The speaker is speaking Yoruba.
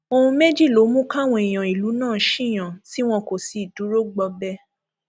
ohun méjì ló mú káwọn èèyàn ìlú náà ṣíyàn tí wọn kò sì dúró gbọbẹ